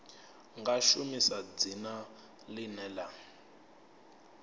nga shumisa dzina ḽine ḽa